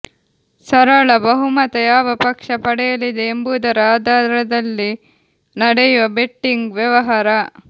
ಸರಳ ಬಹುಮತ ಯಾವ ಪಕ್ಷ ಪಡೆಯಲಿದೆ ಎಂಬುದರ ಆಧಾರದಲ್ಲಿ ನಡೆಯುವ ಬೆಟ್ಟಿಂಗ್ ವ್ಯವಹಾರ